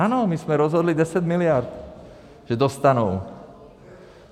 Ano, my jsme rozhodli 10 mld že dostanou.